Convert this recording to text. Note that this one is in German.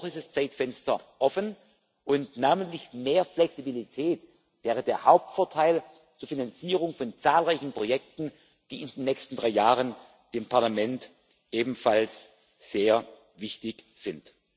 Noch ist das Zeitfenster offen, und namentlich mehr Flexibilität wäre der Hauptvorteil zur Finanzierung von zahlreichen Projekten, die dem Parlament in den nächsten drei Jahren ebenfalls sehr wichtig